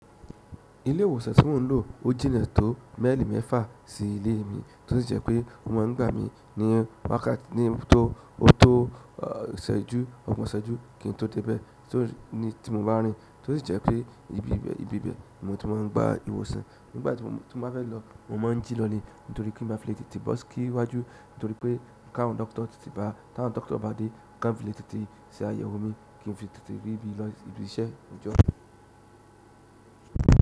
Ilé ìwòsàn tí mo ń lò o jìnà tó mile mẹ́fà sí ilé mi, tó sì jẹ́ pé o má ń da bi, ni, o tó, ọgbọ́n ìṣẹ́jú, kí n tó dé bẹ̀, tó sì jẹ́ pé ibi ibẹ̀ ni mo ti ń má ń gba ìwòsàn nígbà tí mo bá fẹ́ lọ, mo máa ń jí lọ ni, nítorí kí n má bá fi lè tètè bọ́ síwájú, nítorí pé káwọn dókítà bá dé, ká n fi lè tètè ṣe àyẹ̀wò mi kí n fi lè tètè rí ibi ìlọ sí iṣẹ́ ní ọjọ́.